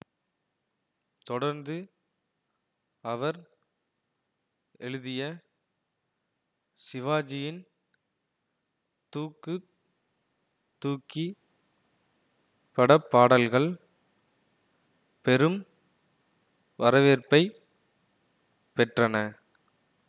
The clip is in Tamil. தொடர்ந்து அவர் எழுதிய சிவாஜியின் தூக்கு தூக்கி படப்பாடல்கள் பெரும் வரவேற்பை பெற்றன